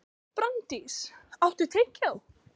Branddís, áttu tyggjó?